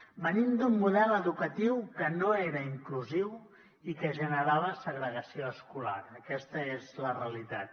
venim d’un model educatiu que no era inclusiu i que generava segregació escolar aquesta és la realitat